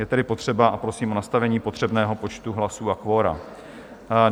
Je tedy potřeba... a prosím o nastavení potřebného počtu hlasů a kvora.